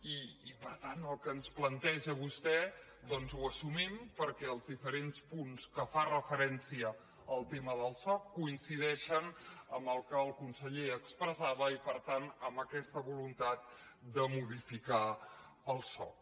i per tant el que ens planteja vostè doncs ho as·sumim perquè els diferents punts que fan referència al tema del soc coincideixen amb el que el conseller expressava i per tant amb aquesta voluntat de modi·ficar el soc